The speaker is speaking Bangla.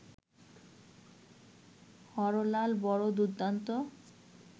হরলাল বড় দুর্দ্দান্ত